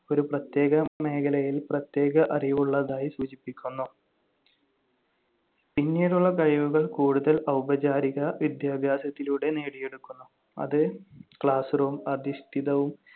ഒരു പ്രത്യേക മേഖലയിൽ പ്രത്യേക അറിവ് ഉള്ളതായി സൂചിപ്പിക്കുന്നു. പിന്നീടുള്ള കഴിവുകൾ കൂടുതൽ ഔപചാരിക വിദ്യാഭ്യാസത്തിലൂടെ നേടിയെടുക്കുന്നു, അത് class room അധിഷ്ഠിതവും